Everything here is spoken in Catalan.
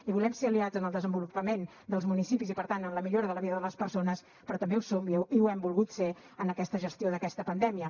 i volem ser aliats en el desenvolupament dels municipis i per tant en la millora de la vida de les persones però també ho som i ho hem volgut ser en aquesta gestió d’aquesta pandèmia